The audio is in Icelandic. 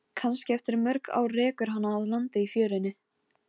Steinfríður, hvernig er veðrið úti?